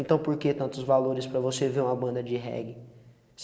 Então por que tantos valores para você ver uma banda de reggae?